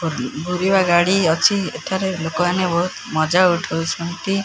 ଭୁର୍ନ ଭୂରିବା ଗାଡ଼ି ଅଛି ଏଠାରେ ଲୋକମାନେ ବୋହୁତ୍ ମଜା ଉଠଉଛନ୍ତି।